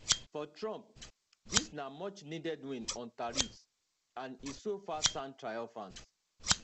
for trump dis na muchneeded win on tariffs and e so far sounds triumphant